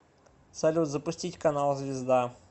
салют запустить канал звезда